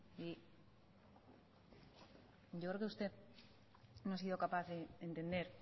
y yo creo que usted no he sido capaz de entender